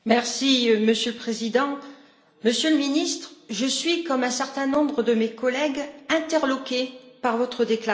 Monsieur le Président, Monsieur le Ministre, je suis, comme un certain nombre de mes collègues, interloquée par votre déclaration.